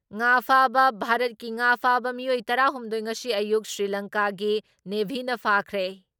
ꯉꯥ ꯐꯥꯕ ꯚꯥꯔꯠꯀꯤ ꯉꯥ ꯐꯥꯕ ꯃꯤꯑꯣꯏ ꯇꯔꯥ ꯍꯨꯝꯗꯣꯏ ꯉꯁꯤ ꯑꯌꯨꯛ ꯁ꯭ꯔꯤꯂꯪꯀꯥꯒꯤ ꯅꯦꯚꯤꯅ ꯐꯥꯈ꯭ꯔꯦ ꯫